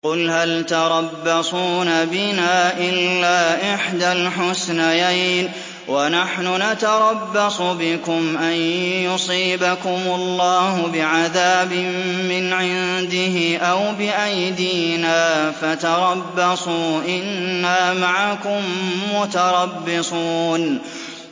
قُلْ هَلْ تَرَبَّصُونَ بِنَا إِلَّا إِحْدَى الْحُسْنَيَيْنِ ۖ وَنَحْنُ نَتَرَبَّصُ بِكُمْ أَن يُصِيبَكُمُ اللَّهُ بِعَذَابٍ مِّنْ عِندِهِ أَوْ بِأَيْدِينَا ۖ فَتَرَبَّصُوا إِنَّا مَعَكُم مُّتَرَبِّصُونَ